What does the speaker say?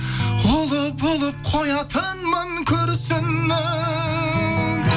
ұлы болып қоятынмын күрсініп